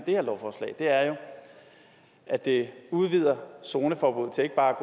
det her lovforslag er at det udvider zoneforbuddet til ikke bare at